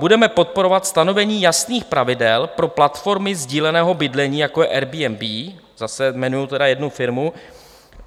Budeme podporovat stanovení jasných pravidel pro platformy sdíleného bydlení, jako je Airbnb - zase jmenují tedy jednu firmu.